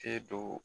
Te do